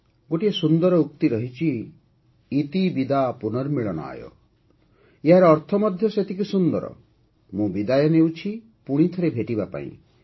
ଗୋଟିଏ ସୁନ୍ଦର ଉକ୍ତି ରହିଛି - "ଇତି ବିଦା ପୁନର୍ମିଳନାୟ" - ଏହାର ଅର୍ଥ ମଧ୍ୟ ସେତିକି ସୁନ୍ଦର - ମୁଁ ବିଦାୟ ନେଉଛି ପୁଣିଥରେ ଭେଟିବା ପାଇଁ